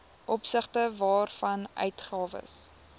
opsigte waarvan uitgawes